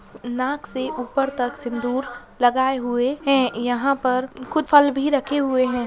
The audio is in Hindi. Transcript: नाक से ऊपर तक सिंदूर लगाए हुए हैं। यहाँ पर कुछ फल भी रखें हुए हैं।